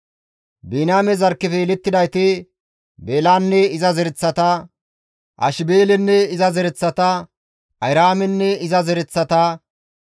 Biniyaame zarkkefe yelettidayti, Beelanne iza zereththata, Ashibeelenne iza zereththata, Ahiraamenne iza zereththata,